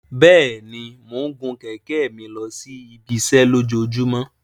Bẹẹni, Mo ń gun kẹ̀kẹ́ mi losi ibiṣẹ lojoojumọ